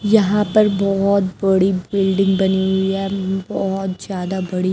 यहां पर बहुत बड़ी बिल्डिंग बनी हुई है बहुत ज्यादा बड़ी।